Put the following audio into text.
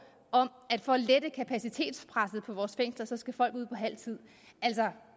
om at for at lette kapacitetspresset på vores fængsler skal folk ud på halv tid altså